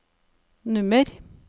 nummer